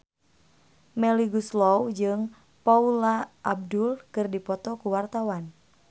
Melly Goeslaw jeung Paula Abdul keur dipoto ku wartawan